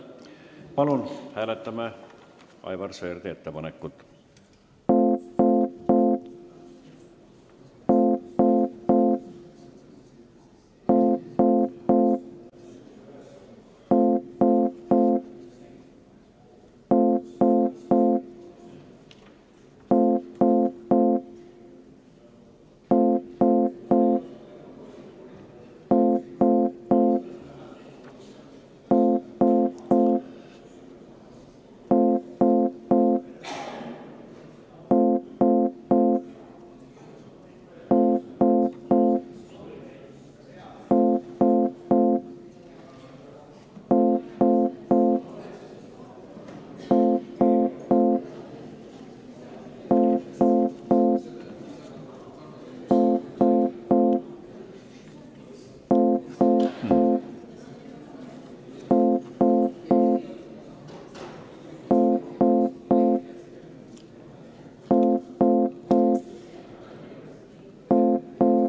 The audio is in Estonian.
Palun seda ettepanekut hääletada!